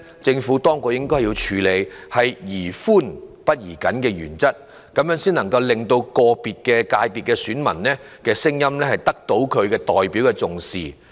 政府當局應採取宜寬不宜緊的原則，讓個別界別的選民聲音得到重視。